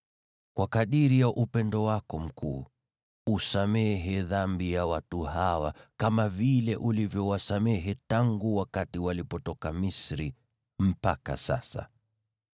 Kwa kadiri ya upendo wako mkuu, usamehe dhambi ya watu hawa, kama vile ulivyowasamehe tangu wakati walitoka Misri mpaka sasa.”